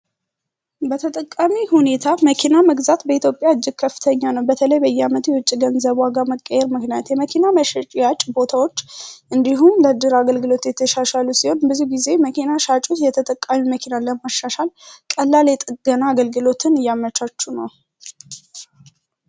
በተጠቃሚ ሁኔታ መኪና መግዛት በኢትዮጵያ እጅግ ከፍተኛ ነው በተለይ በየዓመቱ የውጭ ገንዘቡ ዋጋ መቀየር መንገድ የመኪናዎች እንዲሁም ሲ የተሻሻለው ሲሆን ብዙ ጊዜ መኪና ሻጭ የተጠቃሚ መኪና አለማሻሻል ቀላል የጥገና አገልግሎትን ያመቻቹ ነው